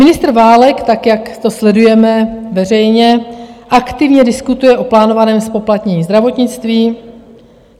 Ministr Válek, tak jak to sledujeme, veřejně aktivně diskutuje o plánovaném zpoplatnění zdravotnictví.